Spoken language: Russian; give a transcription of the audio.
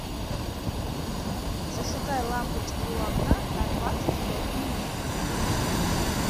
зажигай лампочки у окна на двадцать пять минут